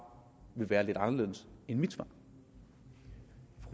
vil være lidt anderledes end mit svar